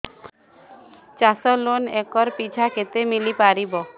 ଚାଷ loan acre ପିଛା କେତେ ମିଳି ପାରିବ